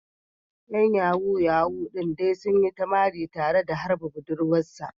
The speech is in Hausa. ‘Yan Yahoo Yahoo din dai sun yi ta mari tare da harba budurwar sa.